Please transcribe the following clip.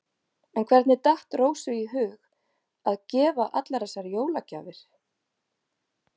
En hvernig datt Rósu í hug að gefa allar þessar jólagjafir?